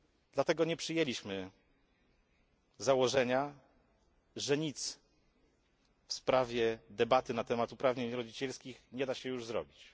Dlatego nie przyjęliśmy założenia, że nic w sprawie debaty na temat uprawnień rodzicielskich nie da się już zrobić.